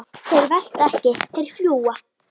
Þeir velta ekki, þeir fljúga.